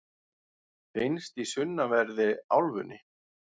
finnst í sunnanverðri álfunni